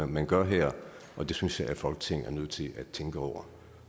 man gør her og det synes jeg folketinget er nødt til at tænke over